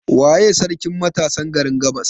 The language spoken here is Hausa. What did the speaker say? Waye sarkin matasan garin gabas?